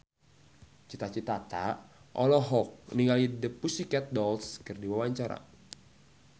Cita Citata olohok ningali The Pussycat Dolls keur diwawancara